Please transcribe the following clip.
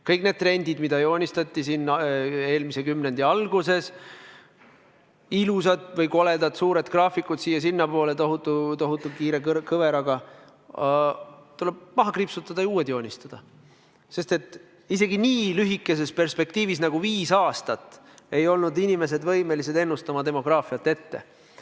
Kõik need trendid, mis joonistati eelmise kümnendi alguses, ilusad või koledad suured graafikud, siia- ja sinnapoole, tohutu kiire kõveraga – need tuleb maha kriipsutada ja uued joonistada, sest isegi nii lühikeses perspektiivis nagu viis aastat ei olnud inimesed võimelised demograafiat ennustama.